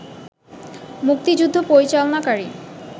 মুক্তিযুদ্ধ পরিচালনাকারী